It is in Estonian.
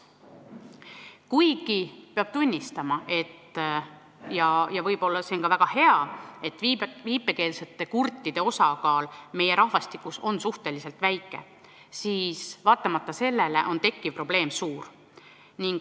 Peab küll tunnistama ja muidugi see on ka väga hea, et viipekeelsete kurtide osakaal meie rahvastikus on suhteliselt väike, aga vaatamata sellele on tekkiv probleem suur.